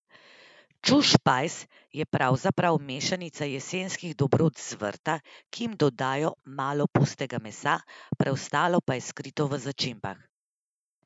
Čušpajz je pravzaprav mešanica jesenskih dobrot z vrta, ki jim dodajo malo pustega mesa, preostalo pa je skrito v začimbah.